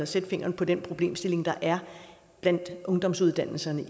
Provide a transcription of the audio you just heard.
sætte fingeren på den problemstilling der er blandt ungdomsuddannelserne